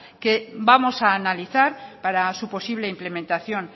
que vamos a analizar para su posible implementación